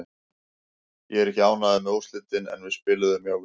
Ég er ekki ánægður með úrslitin en við spiluðum mjög vel.